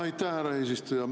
Aitäh, härra eesistuja!